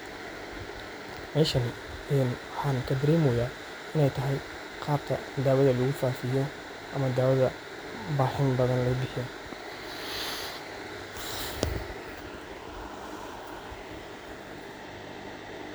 Meeshaan een waxaan ka dareemoya inay tahay qaabka dawada lagu faafiyo ama daawada baaxin badaan loo bihiyo.